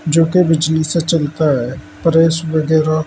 जो कि बिजली से चलता है प्रेस वगैरा--